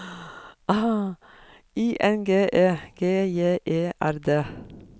I N G E G J E R D